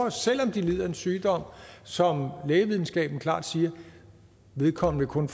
at selv om de lider af en sygdom som lægevidenskaben klart siger vedkommende kun